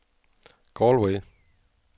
Galway